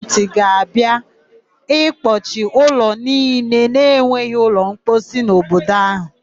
Gọọmentị ga-abịa ịkpọchị ụlọ niile na-enweghị ụlọmposi n'obodo áhụ.